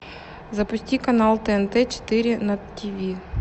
запусти канал тнт четыре на тв